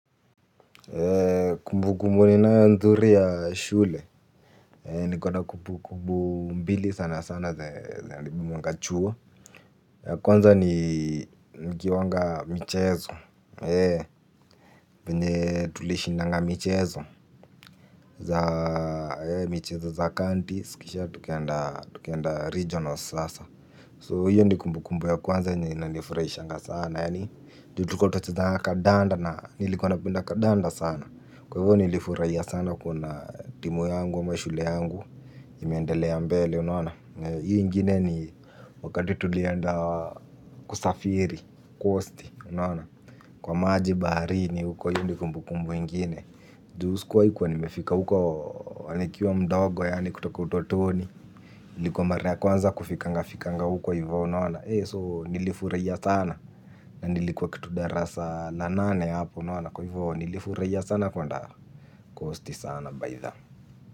Kumbu kumbu ninayo nzuri ya shule, nikona kumbu kumbu mbili sana sana za nabimunga chuo. Kwanza ni nikiwanga michezo, venye tulishindanga michezo za michezo za kanti, si kisha tukaenda regionals sasa So hiyo ni kumbu kumbu ya kwanza yenye inanifurahishanga sana. Ju tulikua tunacheza kadanda na nilikuwa napenda kadanda sana. Kwa hivyo nilifurahia sana kuona timu yangu ama shule yangu imeendelea mbele unaona hio ingine ni wakati tulienda kusafiri coasti unaona kwa maji baharini uko hio ni kumbu kumbu ingine. Ju skua kuwa nimefika huko wa nikiwa mdogo yaani kutoka utotoni ilikuwa mara ya kwanza kufikanga fikanga uko hivyo unaona so nilifuraia sana. Na nilikuwa kitu darasa la nane hapo unaona. Kwa hivyo nilifuraia sana kwenda kosti sana bytha.